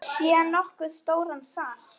Sé nokkuð stóran sal.